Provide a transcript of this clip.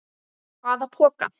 Hvaða poka?